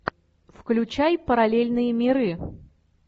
включай параллельные миры